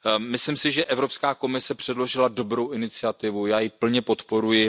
Myslím si, že Evropská komise předložila dobrou iniciativu, já ji plně podporuji.